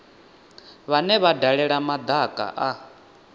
vhane vha dalela madaka a